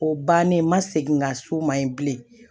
O bannen n ma segin ka s'o ma yen bilen